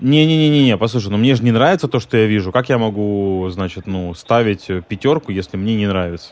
не не не не не послушай но мне же не нравится то что я вижу как я могу значит ну ставить пятёрку если мне не нравится